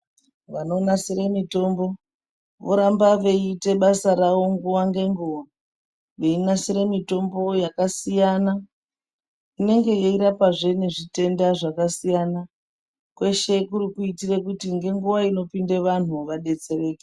Vanonasire mitombo voramba veiite basa ravo nguwa ngenguwa veinasire mitombo yakasiyana inenge yeirapazve nezvitenda zvakasiyana kweshe kuri kuitire kuti ngenguwa inopinde vanhu vadetsereke.